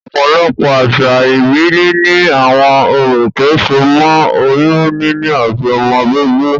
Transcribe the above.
Òpòlopò àsà ìbílè ni àwon orò tó so mó oyún níní àti ọmọ bíbí